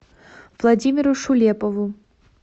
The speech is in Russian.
владимиру шулепову